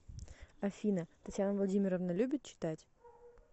афина татьяна владимировна любит читать